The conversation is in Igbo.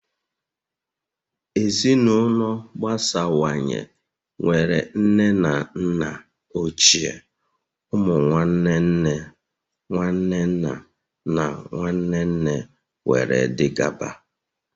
Ezinụlọ agbasawanye nwere nne na nna ochie, ụmụ nwanne nne, nwanne nna na nwanne nne wdg